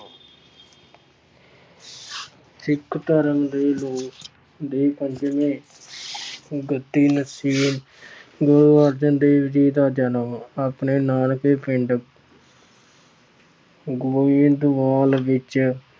ਸਿੱਖ ਧਰਮ ਦੇ ਦੇ ਪੰਜਵੇਂ ਗੁਰੂ ਅਰਜਨ ਦੇਵ ਜੀ ਦਾ ਜਨਮ ਆਪਣੇ ਨਾਨਕੇ ਪਿੰਡ ਗੋਇੰਦਵਾਲ ਵਿੱਚ